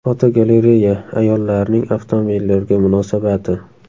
Fotogalereya: Ayollarning avtomobillarga munosabati.